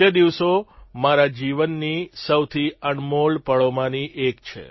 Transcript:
તે દિવસો મારા જીવનની સૌથી અણમોલ પળોમાંના એક છે